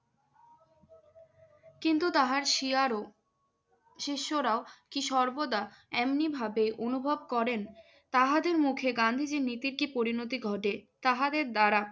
কিন্তু তাহার শিয়ারও শিষ্যরা কী সর্বদা এমনিভাবে অনুভব করেন? তাহাদের মুখে গান্ধীজীর নীতির কি পরিণতি ঘটে তাহাদের দ্বারা?